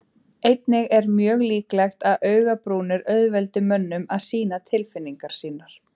Einnig er mjög líklegt að augabrúnir auðveldi mönnum að sýna tilfinningar sínar.